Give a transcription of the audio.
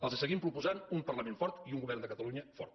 els seguim proposant un parlament fort i un govern de catalunya fort